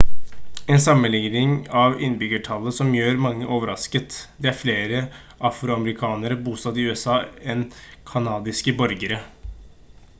en sammenligning av innbyggertallet som gjør mange overrasket det er flere afroamerikanere bosatt i usa enn kanadiske borgere